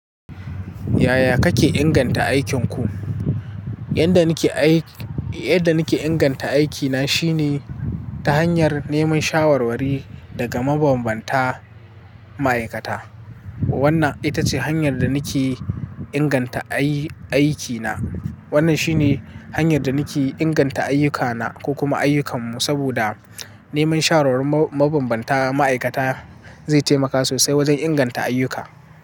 Yaya kake inganta aikinku? Yanda nake inganta aikina shine ta hanyar neman shawarwari daga mabambanta ma'aikata. Wannan ita ce hanyar da nake inganta aikina. Wannan shi ne hanyar da nake inganta ayyukana ko kuma ayyukanmu, saboda neman shawarwarin mabambanta ma'aikata zai taimaka sosai wajen inganta ayyuka.